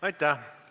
Aitäh!